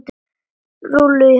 Rúllur í hárinu.